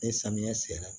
Ni samiya sera